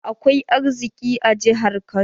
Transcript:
Akwai arziki a jihar Kano